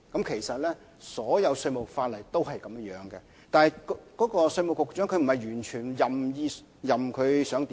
其實，稅務法例一向如是，但並不是稅務局局長能夠任意而為。